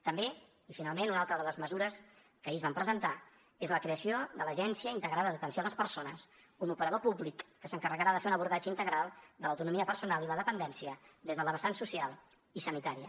també i finalment una altra de les mesures que ahir es van presentar és la creació de l’agència integrada d’atenció a les persones un operador públic que s’encarregarà de fer un abordatge integral de l’autonomia personal i la dependència des de la vessant social i sanitària